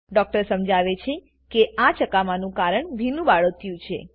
doctor સમજાવે છે કે આ ચકામાનું કારણ ભીનું બાળોતિયું છે